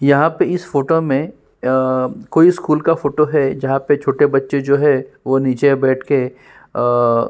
यहाँ पे आ इस फोटो में कोई स्कूल का फोटो है जहाँ पे छोटे बच्चे जो है वह नीचे बैठकर --